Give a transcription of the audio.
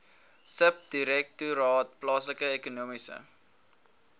subdirektoraat plaaslike ekonomiese